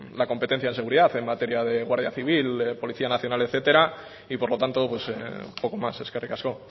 la competencia de seguridad en materia de guardia civil policía nacional etcétera y por lo tanto poco más eskerrik asko